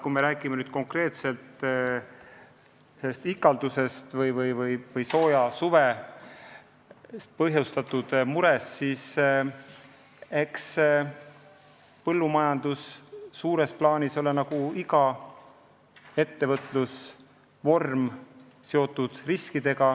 Kui me räägime konkreetselt ikaldusest või soojast suvest põhjustatud murest, siis eks põllumajandus suures plaanis on nagu igasugune ettevõtlus seotud riskidega.